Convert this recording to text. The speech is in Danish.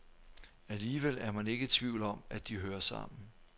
Alligevel er man ikke i tvivl om, at de hører sammen.